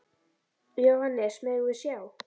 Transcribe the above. Jóhannes: Megum við sjá?